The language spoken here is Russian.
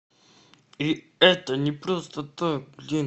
и это не просто так блин